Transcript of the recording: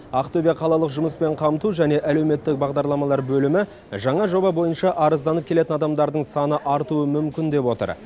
ақтөбе қалалық жұмыспен қамту және әлеуметтік бағдарламалар бөлімі жаңа жоба бойынша арызданып келетін адамдардың саны артуы мүмкін деп отыр